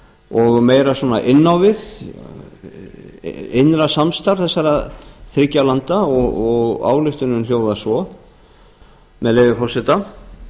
og meira inn á við innra samstarf þessara þriggja landa og ályktunin hljóðar svo með leyfi forseta